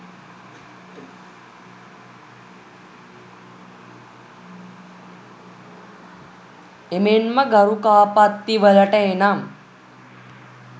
එමෙන්ම ගරුකාපත්තිවලට එනම්